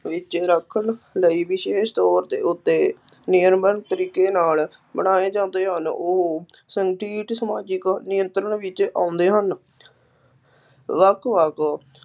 ਵਿੱਚ ਰੱਖਣ ਲਈ ਵਿਸ਼ੇਸ਼ ਤੌਰ ਦੇ ਉੱਤੇ ਨਿਯਮਬੱਧ ਤਰੀਕੇ ਨਾਲ ਬਣਾਏ ਜਾਂਦੇ ਹਨ, ਉਹ ਸੰਤ੍ਰਿਪਤ ਸਮਾਜਿਕ ਨਿਯੰਤਰਣ ਵਿੱਚ ਆਉਂਦੇ ਹਨ ਵੱਖ ਵੱਖ